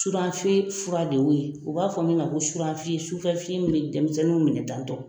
Suranfiye fura de wo ye u b'a fɔ min ma ko suranfiye sufɛfiyen min denmisɛnninw minɛ tantɔ.